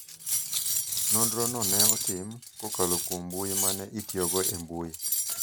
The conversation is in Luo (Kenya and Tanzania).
Nonro no ne otim, kokalo kuom mbui ma ne itiyogo e mbui,